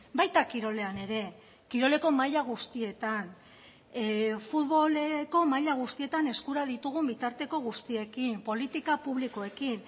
baita kirolean ere kiroleko maila guztietan futboleko maila guztietan eskura ditugun bitarteko guztiekin politika publikoekin